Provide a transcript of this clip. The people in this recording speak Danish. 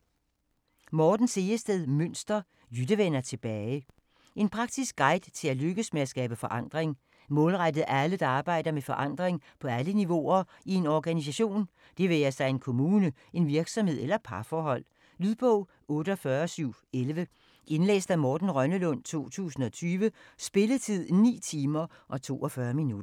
Münster, Morten Sehested: Jytte vender tilbage En praktisk guide til at lykkes med at skabe forandring. Målrettet alle der arbejder med forandring på alle niveauer i en organisation, det være sig en kommune, en virksomhed eller et parforhold. Lydbog 48711 Indlæst af Morten Rønnelund, 2020. Spilletid: 9 timer, 42 minutter.